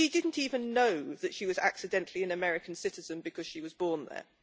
She didn't even know that she was accidentally an American citizen because she was born there.